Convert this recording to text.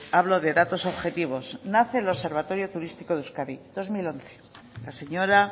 hablo de datos objetivos nace el observatorio turístico de euskadi dos mil once la señora